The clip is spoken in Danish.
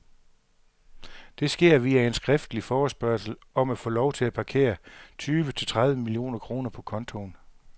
Det sker via en skriftlig forespørgsel om at få lov til at parkere tyve til tredive millioner kroner på kontoen.